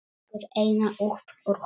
Tekur eina upp úr honum.